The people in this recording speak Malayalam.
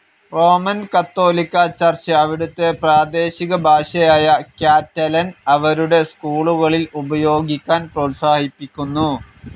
റോമൻ കാത്തോലിക്‌ ചർച്ച്‌ അവിടുത്തെ പ്രാദേശികഭാഷയായ ക്യാറ്റലൻ അവരുടെ സ്കൂളുകളിൽ ഉപയോഗിക്കാൻ പ്രോത്സാഹിപ്പിക്കുന്നു.